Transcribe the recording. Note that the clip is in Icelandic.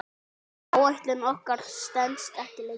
Áætlun okkar stenst ekki lengur.